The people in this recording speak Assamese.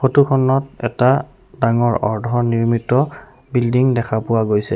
ফটোখনত এটা ডাঙৰ অৰ্ধ নিৰ্মিত বিল্ডিং দেখা পোৱা গৈছে।